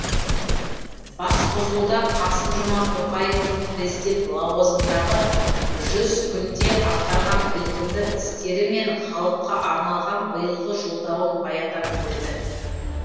басқосуда қасым жомарт тоқаевтың президент лауазымындағы жүз күнде атқарған ілкімді істері мен халыққа арналған биылғы жолдауын баяндап берді